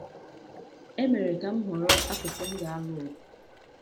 E mere ka m họrọ akụkụ m ga-alụ ọgụ.